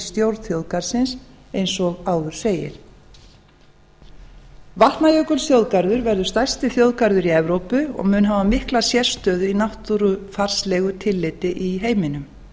stjórn þjóðgarðsins eins og áður segir vatnajökulsþjóðgarður verður stærsti þjóðgarður í evrópu og mun hafa mikla sérstöðu í náttúrufarslegu tilliti í heiminum